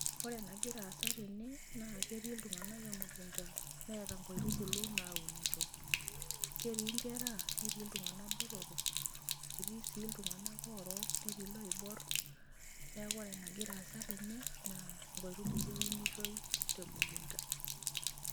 Ore enagira aasa tene naa ketii iltunganak emukunta , neeta nkaitubulu naunito . Ketii nkera , netii iltungank botorok, etii sii iltungank orook , netii lorook. Niaku ore enagira aasa tene naa nkaitubulu eunitoi tengumoto.